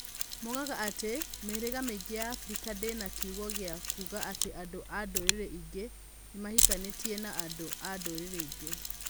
Moigaga atĩ mĩhĩrĩga mĩingĩ ya Abirika ndĩna kiugo gĩa kuuga atĩ andũ a ndũrĩrĩ ingĩ nĩ mahikanĩtie na andũ a ndũrĩrĩ ingĩ.